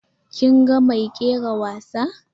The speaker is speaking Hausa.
Kin ga mai kera wasa?